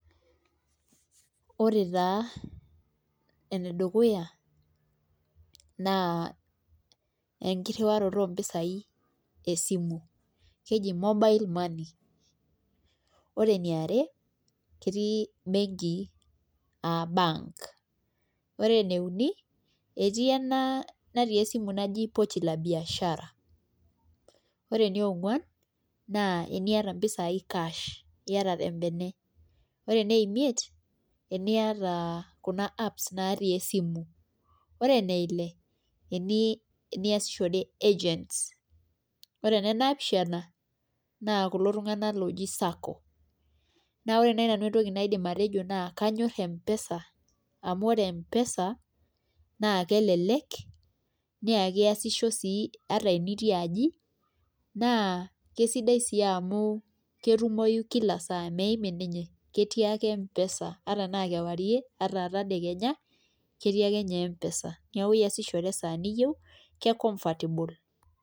Ore taa enedukuya naa enkirriwaroto ompisaai esimu keji mobile money ore eniare ketii, benkii aa [ca]bank ene uni etii ena natii esimu naji pochi la biashara ore eniongwan teniata mpisaai cash ore enei,